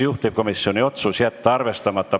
Juhtivkomisjoni otsus: jätta arvestamata.